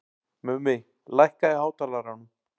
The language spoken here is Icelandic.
Mummi, lækkaðu í hátalaranum.